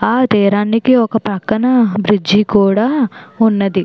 ఆ తీరానికి ఒక పక్కన బ్రిడ్జి కూడా ఉన్నది.